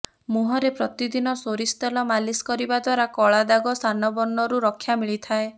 ମୁୁହଁରେ ପ୍ରତିଦିନ ସୋରିଷ ତେଲ ମାଲିସ କରିବା ଦ୍ୱାରା କଳାଦାଗ ସନବର୍ଣ୍ଣରୁ ରକ୍ଷା ମିଳିଥାଏ